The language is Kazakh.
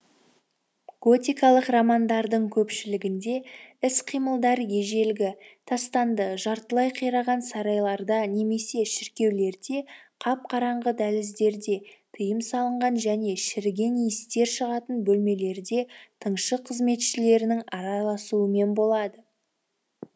готикалық романдардың көпшілігінде іс қимылдар ежелгі тастанды жартылай қираған сарайларда немесе шіркеулерде қап қараңғы дәліздерде тыйым салынған және шіріген иістер шығатын бөлмелерде тыңшы қызметшілердің араласуымен болады